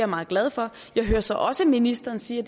meget glad for jeg hører så også ministeren sige